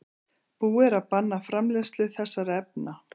Búið er að banna framleiðslu þessara efna.